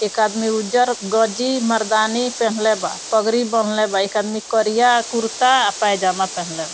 एक आदमी उज्जर गंजी मर्दानी पेहनले बा पगरी बांधले बा एक आदमी करिया कुर्ता आ पयजामा पेहनले --